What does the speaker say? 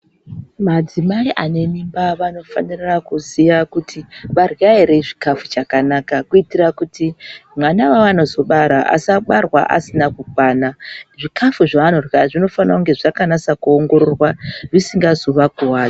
Madzimai ane mimba vanofanira kuziya kuti varya ere chikafu chakanaka kuitira kuti vana vavanozo bara asabarwa asina kukwana zvikafu zvavanorya zvinofanira kunge zvakanyasa kuongororwa zvisingazo vakuvadzi.